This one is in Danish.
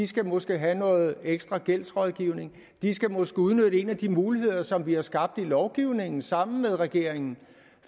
skal måske have noget ekstra gældsrådgivning de skal måske udnytte en af de muligheder som vi har skabt i lovgivningen sammen med regeringen